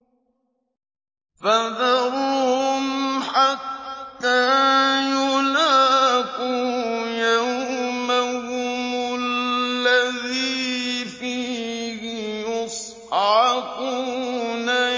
فَذَرْهُمْ حَتَّىٰ يُلَاقُوا يَوْمَهُمُ الَّذِي فِيهِ يُصْعَقُونَ